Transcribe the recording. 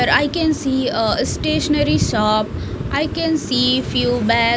i can see ah stationary shop i can see few ba--